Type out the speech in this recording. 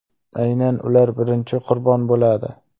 Aynan ular birinchi qurbon bo‘ladi.